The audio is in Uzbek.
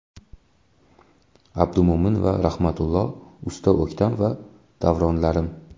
Abdumo‘min va Rahmatullo, Usta O‘ktam va Davronlarim.